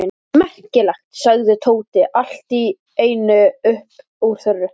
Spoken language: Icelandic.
Merkilegt! sagði Tóti allt í einu upp úr þurru.